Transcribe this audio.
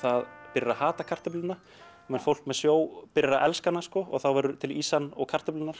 byrjar að hata kartöfluna meðan fólk með sjó byrjar að elska hana og þá verður til ýsan og kartöflurnar